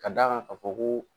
Ka d'a kan ka fɔ ko.